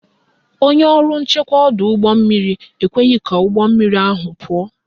Onye ọrụ nchekwa ọdọụgbọmmiri ekweghị ka ụgbọmmiri ahụ pụọ